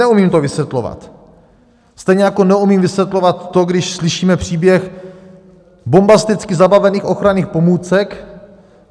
Neumím to vysvětlovat, stejně jako neumím vysvětlovat to, když slyšíme příběh bombasticky zabavených ochranných pomůcek.